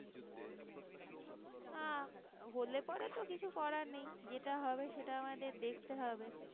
না হলে পরে তো কিছু করার নেই যেটা হবে সেটা আমাদের দেখতে হবে